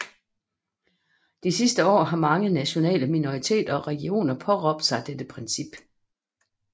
De sidste år har mange nationale minoriteter og regioner påberåbt sig dette princip